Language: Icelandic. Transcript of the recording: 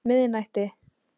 miðnætti